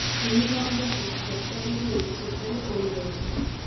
ତିନି ଜଣ ଯାକ କଚାଡ଼ି ହୋଇ ସେଠାରେ ପଡ଼ି ଯାଇଥିଲେ